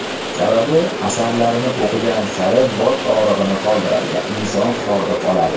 sababi asarlarini o‘qigan sari bosh og‘rig‘ini qoldiradi va inson hordiq oladi.